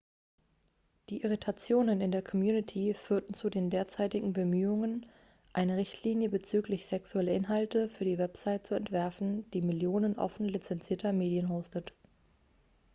die irritationen in der community führten zu den derzeitigen bemühungen eine richtlinie bezüglich sexueller inhalte für die website zu entwerfen die millionen offen lizenzierter medien hostet